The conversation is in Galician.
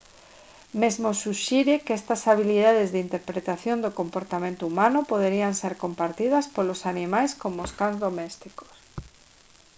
mesmo suxire que estas habilitades de interpretación do comportamento humano poderían ser compartidas polos animais como os cans domésticos